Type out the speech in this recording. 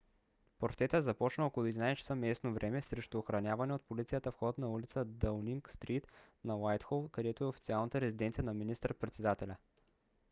протестът започна около 11:00 часа местно време utc+1 срещу охранявания от полицията вход на улица даунинг стрийт на уайтхол където е официалната резиденция на министър-председателя